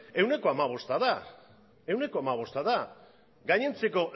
ehuneko hamabosta da gainontzeko